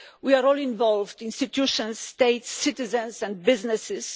We are all involved institutions, states, citizens and businesses.